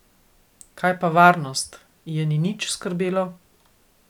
Kaj pa varnost, je ni nič skrbelo?